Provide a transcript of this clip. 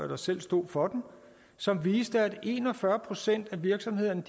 der selv stod for den som viste at en og fyrre procent af virksomhederne